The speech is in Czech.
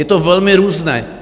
Je to velmi různé.